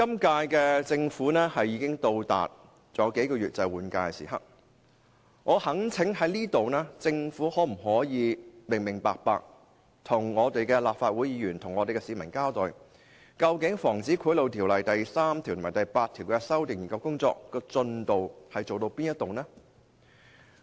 今屆政府尚餘數月便到換屆的時刻，我在此懇請政府向市民和立法會議員清楚交代，究竟《防止賄賂條例》第3條及第8條的修訂研究工作進度為何？